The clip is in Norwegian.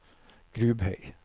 Grubhei